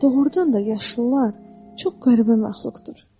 Doğrudan da yaşlılar çox qəribə məxluqdur.